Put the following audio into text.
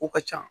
Ko ka ca